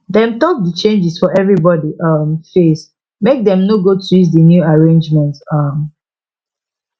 dem talk d changes for everybody um face make dem no go twist the new arrangement um